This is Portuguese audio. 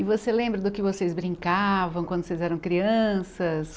E você lembra do que vocês brincavam quando vocês eram crianças?